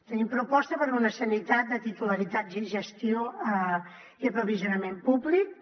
tenim proposta per a una sanitat de titularitat gestió i aprovisionament públics